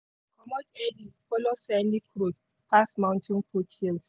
early follow scenic road pass mountain foothills.